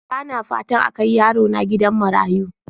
Bana fatan a kai yarona gidan marayu.